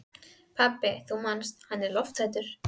Pabbi, þú manst að hann er lofthræddur.